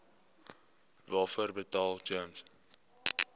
waarvoor betaal gems